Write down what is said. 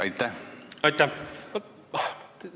Aitäh!